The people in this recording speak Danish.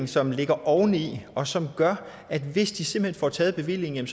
som ligger oveni og som gør at de hvis de simpelt hen får taget bevillingen